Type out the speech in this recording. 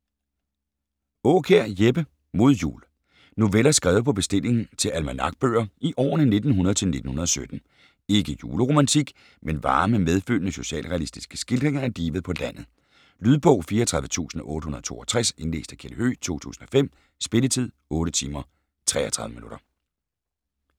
Aakjær, Jeppe: Mod Jul Noveller skrevet på bestilling til almanakbøger i årene 1900 til 1917. Ikke juleromantik, men varme, medfølende socialrealistiske skildringer af livet på landet. Lydbog 34862 Indlæst af Kjeld Høegh, 2005. Spilletid: 8 timer, 33 minutter.